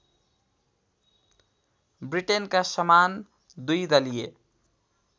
ब्रिटेनका समान द्विदलीय